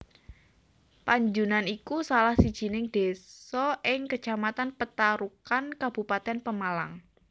Panjunan iku salah sijining desa ing Kecamatan Petarukan Kabupatèn Pemalang